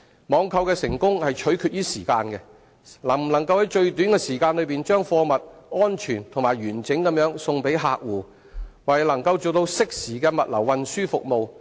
網購的成功，取決於時間，能否在最短的時間把貨物安全及完整地運送給客戶，為能做到適時的物流運輸服務。